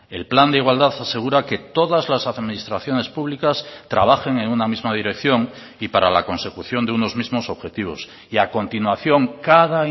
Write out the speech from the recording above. el plan de igualdad asegura que todas las administraciones públicas trabajen en una misma dirección y para la consecución de unos mismos objetivos y a continuación cada